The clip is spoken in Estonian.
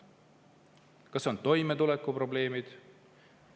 Kas meil on toimetulekuprobleemid?